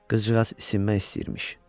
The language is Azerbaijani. Qızcığaz isinmək istəyirmiş.